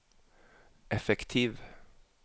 effektiv